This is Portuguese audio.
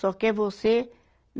Só quer você.